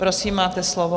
Prosím, máte slovo.